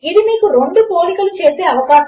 కనుక ఇవి రెండు లాజికల్ ఆపరేటర్లు